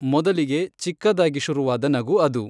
ಮೊದಲಿಗೆ ಚಿಕ್ಕದಾಗಿ ಶುರುವಾದ ನಗು ಅದು.